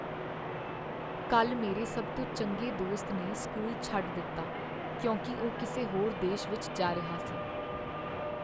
ਕੱਲ੍ਹ ਮੇਰੇ ਸਭ ਤੋਂ ਚੰਗੇ ਦੋਸਤ ਨੇ ਸਕੂਲ ਛੱਡ ਦਿੱਤਾ ਕਿਉਂਕਿ ਉਹ ਕਿਸੇ ਹੋਰ ਦੇਸ਼ ਵਿੱਚ ਜਾ ਰਿਹਾ ਸੀ।